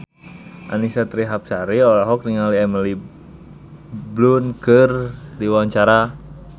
Annisa Trihapsari olohok ningali Emily Blunt keur diwawancara